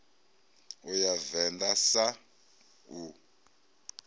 u ya venḓa sun u